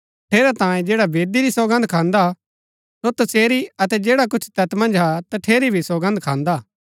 ठेरैतांये जैडा वेदी री सौगन्द खान्दा सो तसेरी अतै जैडा कुछ तैत मन्ज हा तठेरी भी सौगन्द खान्दा हा